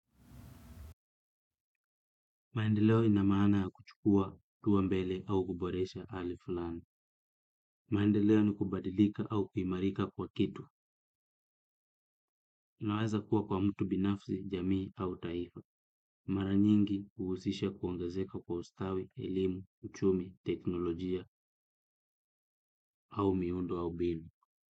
Maendeleo ina maana ya kuchukua, hatua mbele au kuboresha hali fulani. Maendeleo ni kubadilika au kuimarika kwa kitu. Inaweza kuwa kwa mtu binafsi, jamii au taifa. Mara nyingi huhusisha kuongezeka kwa ustawi, elimu, uchumi, teknolojia au miundo au mbinu.